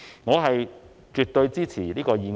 我絕對支持這項議案。